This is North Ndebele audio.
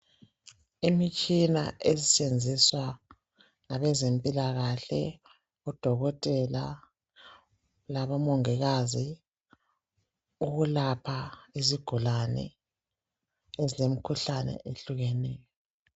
Imitshina esetshenziswa ngabezempilakahle odokotela labomongikazi ukulapha izigulane ezilemkhuhlane ehlukeneyo.